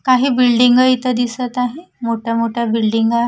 काही बिल्डिंग इथं दिसत आहे मोठ्या मोठ्या बिल्डिंग आहे.